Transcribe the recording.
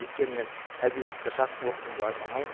өйткені мен әдебиетті жақсы оқыдым деп айта алмаймын